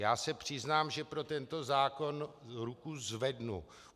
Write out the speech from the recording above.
Já se přiznám, že pro tento zákon ruku zvednu.